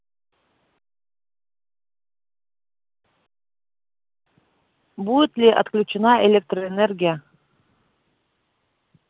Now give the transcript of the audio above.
будет ли отключена электроэнергия